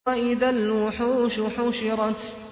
وَإِذَا الْوُحُوشُ حُشِرَتْ